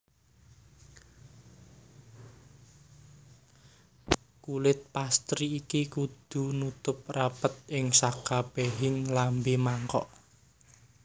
Kulit pastry iki kudu nutup rapet ing sakabehing lambe mangkok